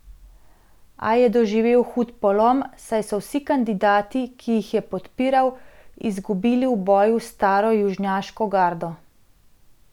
A je doživel hud polom, saj so vsi kandidati, ki jih je podpiral, izgubili v boju s staro južnjaško gardo.